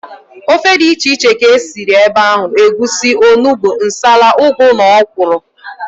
Ofe dị iche iche ka e siri ebe ahụ, egusi, onugbu, nsala, ụgụ na ọkwụrụ